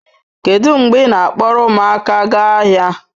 Kedu mgbe ị na-akpọrọ ụmụaka gaa ahịa